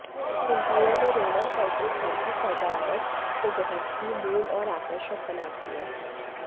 interior में Roman पर्दे घर की सजावट को बहुत ही मूल और आकर्षक बनाती हैं